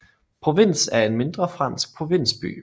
Provins er en mindre fransk provinsby